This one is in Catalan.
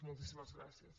moltíssimes gràcies